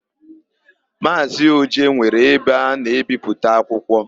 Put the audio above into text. Maazị Oje nwere ebe a na-ebipụta akwụkwọ.